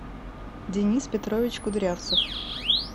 денис петрович кудрявцев